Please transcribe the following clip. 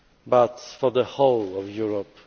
but for the whole of Europe.